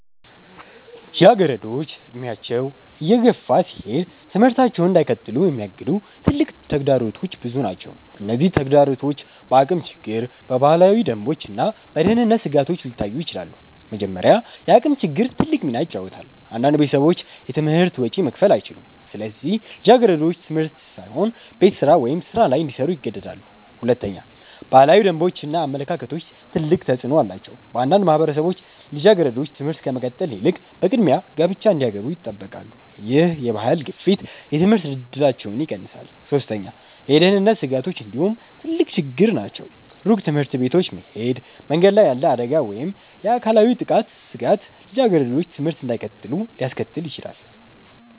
ልጃገረዶች እድሜያቸው እየገፋ ሲሄድ ትምህርታቸውን እንዳይቀጥሉ የሚያግዱ ትልቅ ተግዳሮቶች ብዙ ናቸው። እነዚህ ተግዳሮቶች በአቅም ችግር፣ በባህላዊ ደንቦች እና በደህንነት ስጋቶች ሊታዩ ይችላሉ። መጀመሪያ፣ የአቅም ችግር ትልቅ ሚና ይጫወታል። አንዳንድ ቤተሰቦች የትምህርት ወጪ መክፈል አይችሉም፣ ስለዚህ ልጃገረዶች ትምህርት ሳይሆን ቤት ስራ ወይም ሥራ ላይ እንዲሰሩ ይገደዳሉ። ሁለተኛ፣ ባህላዊ ደንቦች እና አመለካከቶች ትልቅ ተፅዕኖ አላቸው። በአንዳንድ ማህበረሰቦች ልጃገረዶች ትምህርት ከመቀጠል ይልቅ በቅድሚያ ጋብቻ እንዲገቡ ይጠበቃሉ። ይህ የባህል ግፊት የትምህርት እድላቸውን ይቀንሳል። ሶስተኛ፣ የደህንነት ስጋቶች እንዲሁ ትልቅ ችግር ናቸው። ሩቅ ትምህርት ቤቶች መሄድ፣ መንገድ ላይ ያለ አደጋ ወይም የአካላዊ ጥቃት ስጋት ልጃገረዶች ትምህርት እንዳይቀጥሉ ሊያስከትል ይችላል።